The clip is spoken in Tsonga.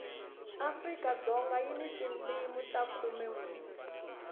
afrikadzoga yi na tindimi ta khumenwe